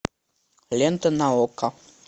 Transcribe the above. лента на окко